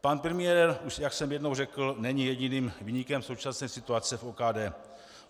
Pan premiér, jak už jsem jednou řekl, není jediným viníkem současné situace v OKD.